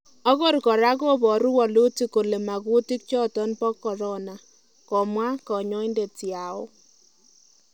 Akor kora koparu walutik kole ma kutik choton o corona. Komwa kanyoindet Yao